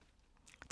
TV 2